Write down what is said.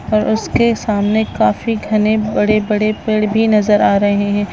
--और उसके सामने काफी घने बड़े-बड़ पेड़ भी नजर आ रहे --